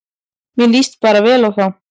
Mér líst bara vel á þá